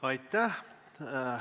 Aitäh!